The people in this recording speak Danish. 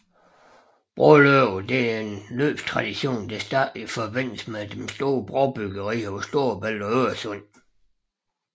Broløb er en løbstradition der startede i forbindelse med de store brobyggerier på Storebælt og Øresund